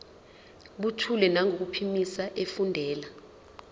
buthule nangokuphimisa efundela